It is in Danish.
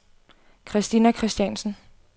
Kristina Kristiansen